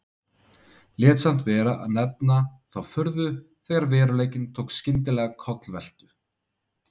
Lét samt vera að nefna þá furðu þegar veruleikinn tók skyndilega kollveltu.